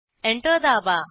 enter दाबा